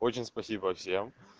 очень спасибо всем